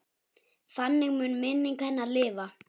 Þannig mun minning hennar lifa.